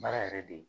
Baara yɛrɛ de